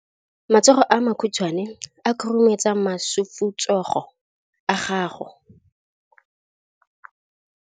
Matsogo a makhutshwane a khurumetsa masufutsogo a gago.